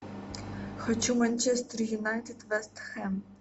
хочу манчестер юнайтед вест хэм